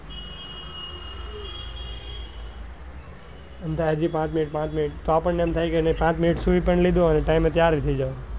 એમ થાય હજુ પાંચ minute પાંચ minute તો આપણને એમ થાય કે પાંચ minute સુઈ પણ લીધું અને time તૈયાર એ થઇ જવાય.